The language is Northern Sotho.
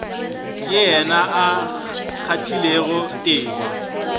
ke yena a kgathilego tema